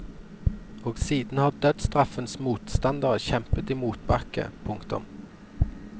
Og siden har dødsstraffens motstandere kjempet i motbakke. punktum